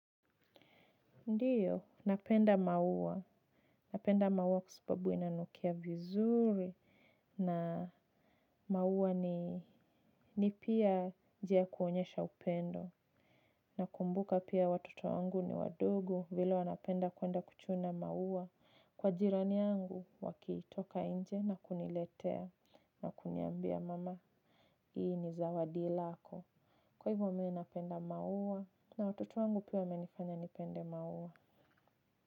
Ndiyo, napenda maua. Napenda maua kwa sababu inanukia vizuri. Na maua ni pia njia ya kuonyesha upendo. Nakumbuka pia watoto wangu ni wadogo vile wanapenda kuenda kuchuna maua. Kwa jirani yangu, wakitoka inje na kuniletea. Na kuniambia mama, hii ni zawadi lako. Kwa hivyo mi napenda maua. Na watoto wangu pia wamenifanya nipende maua.